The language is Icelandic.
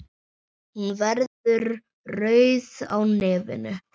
Hún verður rauð á nefinu.